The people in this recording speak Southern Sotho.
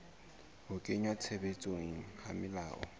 ho kenngwa tshebetsong ha melao